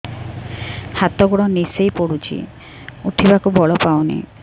ହାତ ଗୋଡ ନିସେଇ ପଡୁଛି ଉଠିବାକୁ ବଳ ପାଉନି